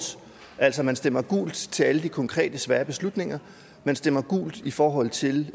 altså at man stemmer gult til alle de konkrete svære beslutninger man stemmer gult i forhold til